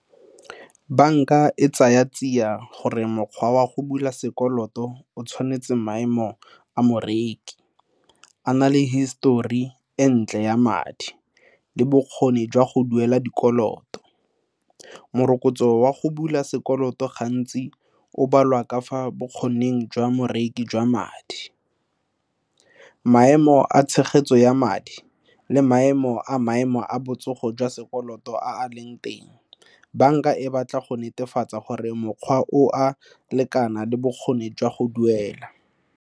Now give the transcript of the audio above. Banka e tsaya tsia gore mokgwa wa go bula sekoloto o tshwanetse maemo a moreki, o na le histori e ntle ya madi, le bokgoni jwa go duela dikoloto. Morokotso wa go bula sekoloto gantsi, o balwa ka fa bokgoning jwa moreki ka madi, maemo a tshegetso ya madi le maemo a botsogo jwa sekoloto a leng teng. Banka e batla go netefatsa gore mokgwa o a lekana le bokgoni jwa go duela.